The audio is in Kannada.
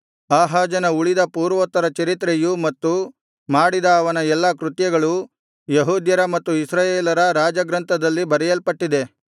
ಆಹಾಜನ ಉಳಿದ ಪೂರ್ವೋತ್ತರ ಚರಿತ್ರೆಯೂ ಮತ್ತು ಮಾಡಿದ ಅವನ ಎಲ್ಲಾ ಕೃತ್ಯಗಳೂ ಯೆಹೂದ್ಯರ ಮತ್ತು ಇಸ್ರಾಯೇಲರ ರಾಜ ಗ್ರಂಥದಲ್ಲಿ ಬರೆಯಲ್ಪಟ್ಟಿದೆ